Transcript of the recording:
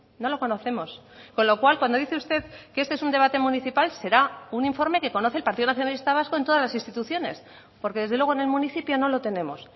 no lo conocemos con lo cual cuando dice usted que este es un debate municipal será un informe que conoce el partido nacionalista vasco en todas las instituciones porque desde luego en el municipio no lo tenemos